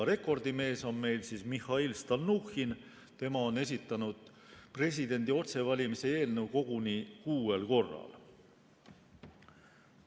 Rekordimees on Mihhail Stalnuhhin, tema on esitanud presidendi otsevalimise eelnõu koguni kuuel korral.